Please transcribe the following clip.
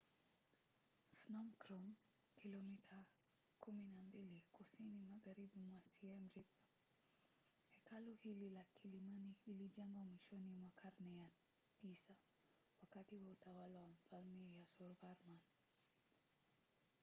phnom krom kilomita 12 kusini magharibi mwa siem reap. hekalu hili la kilimani lilijengwa mwishoni mwa karne ya 9 wakati wa utawala wa mfalme yasovarman